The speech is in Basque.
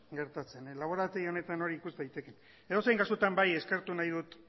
gertatzen laborategi honetan hori ikus daiteke edozein kasutan bai eskertu nahi ditut